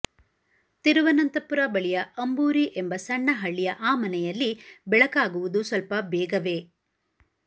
ತಿರುವನಂತಪುರ ಬಳಿಯ ಅಂಬೂರಿ ಎಂಬ ಸಣ್ಣ ಹಳ್ಳಿಯ ಆ ಮನೆಯಲ್ಲಿ ಬೆಳಕಾಗುವುದು ಸ್ವಲ್ಪ ಬೇಗವೇ